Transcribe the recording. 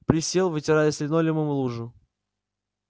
присел вытирая с линолеума лужу